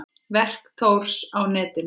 Verk Thors á netinu